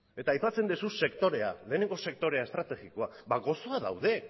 eta aipatzen duzu sektorea lehenengo sektore estrategikoa ba gozoa daude